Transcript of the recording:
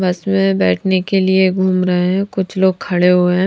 बस में बैठने के लिए घूम रहे है कुछ लोग खड़े हुए है ।